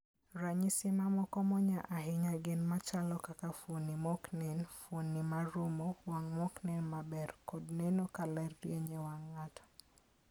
Ranyisi mamoko monya ahinya gin ma chalo kaka fuonde ma ok nen, fuonde ma rumo, wang ' ma ok nen maber, kod neno ka ler rieny e wang ' ng'ato.